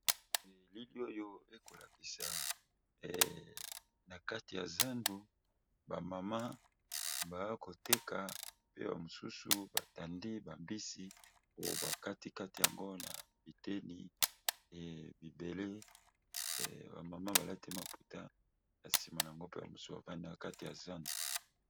Elili oyo ekolakisa na kati ya zandu ba mama bakoteka pe ba misusu ba tandi ba mbisi koloba kati kati yango na biteni e mibele ba mama balati maputa na sima yango pe ba misusu bavandi na kati ya zandu.